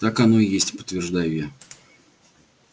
так оно и есть подтверждаю я